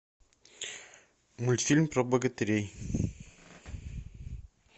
мультфильм про богатырей